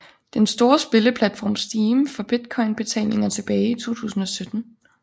Den store spilleplatform Steam for Bitcoin betalinger tilbage i 2017